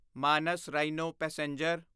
Manas rhino passenger